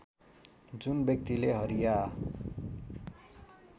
जुन व्यक्तिले हरिया